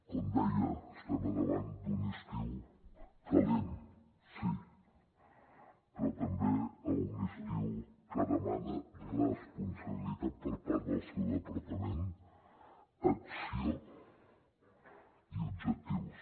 com deia estem al davant d’un estiu calent sí però també d’un estiu que demana responsabilitat per part del seu departament acció i objectius